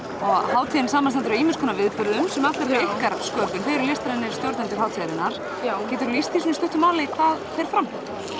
hátíðin samanstendur af ýmsum viðburðum sem allir eru ykkar sköpun þið eruð listrænir stjórnendur hátíðarinnar geturðu lýst því svona í stuttu máli hvað fer fram